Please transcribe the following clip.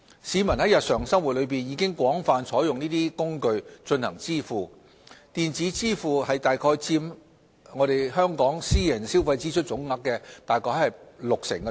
市民在日常生活中已廣泛採用這些工具進行支付，電子支付在香港約佔私人消費支出總額的 60%。